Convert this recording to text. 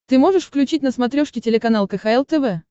ты можешь включить на смотрешке телеканал кхл тв